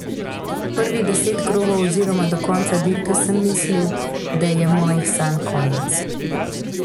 Prvih deset krogov oz do konca dirke sem mislil, da je mojih sanj konec.